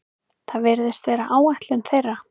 Það virðist vera áætlun þeirra